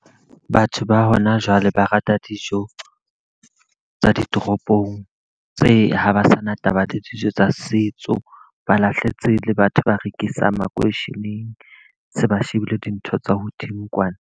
Batho ba hona jwale ba rata dijo tsa ditoropong. Tse ha ba sa na taba le dijo tsa setso, ba lahletse le batho ba rekisang makeisheneng. Se ba shebile dintho tsa hodimo kwana.